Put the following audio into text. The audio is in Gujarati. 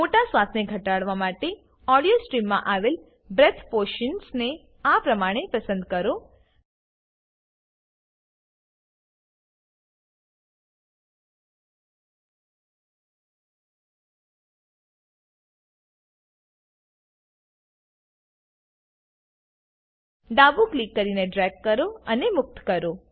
મોટા શ્વાસને ઘટાડવા માટે ઓડીયો સ્ટ્રીમમાં આવેલ બ્રેથ પોર્શનને આ પ્રમાણે પસંદ કરો ડાબું ક્લિક કરીને ડ્રેગ કરો અને મુક્ત કરો